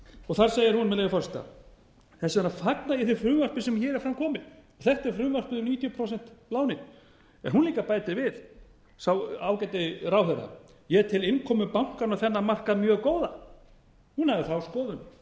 og þar segir hún með leyfi forseta þess vegna fagna ég því frumvarpi sem hér er fram komið þetta er frumvarpið um níutíu prósent lánin hún bætir líka við sá ágæti ráðherra ég tel innkomu bankanna á þennan markað mjög góða hún hafði þá skoðun